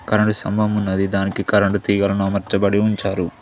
Current స్థంభం ఉన్నది దానికి కరెంట్ తీగలను అమర్చబడి ఉంచారు.